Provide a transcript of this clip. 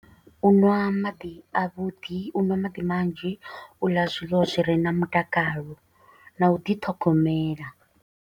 U ṅwa maḓi a vhuḓi, u ṅwa maḓi manzhi, u ḽa zwiḽiwa zwi re na mutakalo, na u ḓi ṱhogomela.